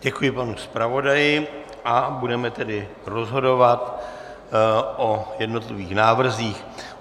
Děkuji panu zpravodaji a budeme tedy rozhodovat o jednotlivých návrzích.